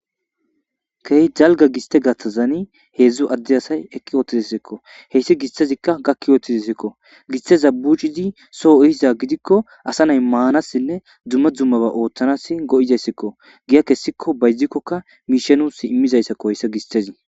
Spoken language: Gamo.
kehi dalga giste gattazani heedzdzu adde asay ekki oottizasekko heyssi gistazikka gakki yoottizesekko gisteza buchizi soo ihiza gidikko asa nay maanassinne dumma dummaba ooththanas go7izayssekko giya kessikko baydzikkokka miishanus immizayssakko heyssi gistezi